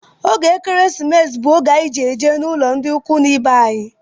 Oge ekeresimesi bú oge anyị ji eje n'ụlọ ndị ikwu na ibe anyi